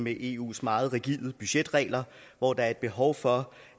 med eus meget rigide budgetregler hvor der er et behov for